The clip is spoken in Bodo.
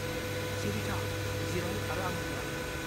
-सिरि था! जिराय आरो आंजों नाय।